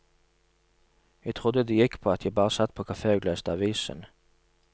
Jeg trodde det gikk på at jeg bare satt på kafé og leste avisen.